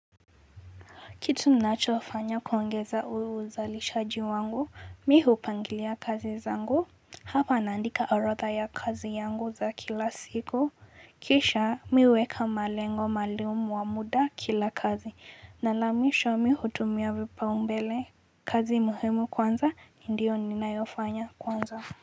Kitu ninachofanya kuongeza uzalishaji wangu, mimi hupangilia kazi zangu, hapa naandika orodha ya kazi zangu za kila siku. Kisha mimi huweka malengo maalumu ya muda kwa kila kazi, na hatimaye hutumia vipaumbele, kazi muhimu kwanza, ndiyo ninayoifanya kwanza.